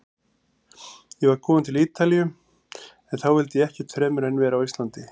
Ég var kominn til Ítalíu- en þá vildi ég ekkert fremur en vera á Íslandi.